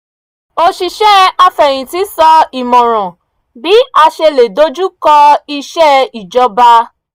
oṣìṣẹ́ afẹ̀yintì sọ ìmọ̀ràn bí a ṣe lè dojú kọ iṣe ìjọba